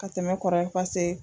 Ka tɛmɛ kɔrɔlen pase